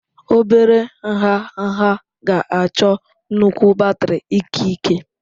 Obere nha nha ga-achọ nnukwu batrị ikike.